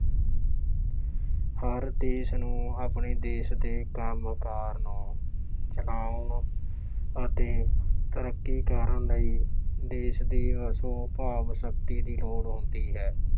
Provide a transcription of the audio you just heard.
ਹਰ ਦੇਸ਼ ਨੂੰ ਆਪਣੇ ਦੇਸ਼ ਦੇ ਕੰਮ ਕਾਰ ਨੂੰ ਚਲਾਉਣ ਅਤੇ ਤਰੱਕੀ ਕਰਨ ਲਈ ਦੇਸ਼ ਦੀ ਵਸੋਂ ਭਾਵ ਸ਼ਕਤੀ ਦੀ ਲੋੜ ਹੁੰਦੀ ਹੈ।